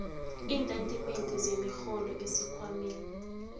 iintatimende zemirholo esikhwameni